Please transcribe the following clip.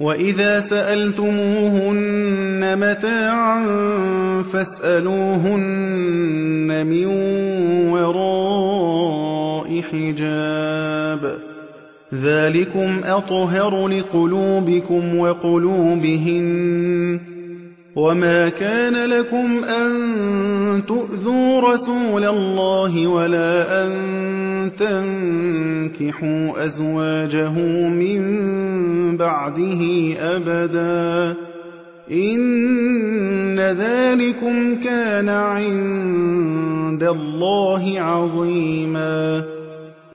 وَإِذَا سَأَلْتُمُوهُنَّ مَتَاعًا فَاسْأَلُوهُنَّ مِن وَرَاءِ حِجَابٍ ۚ ذَٰلِكُمْ أَطْهَرُ لِقُلُوبِكُمْ وَقُلُوبِهِنَّ ۚ وَمَا كَانَ لَكُمْ أَن تُؤْذُوا رَسُولَ اللَّهِ وَلَا أَن تَنكِحُوا أَزْوَاجَهُ مِن بَعْدِهِ أَبَدًا ۚ إِنَّ ذَٰلِكُمْ كَانَ عِندَ اللَّهِ عَظِيمًا